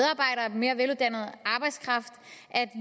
mere veluddannet arbejdskraft at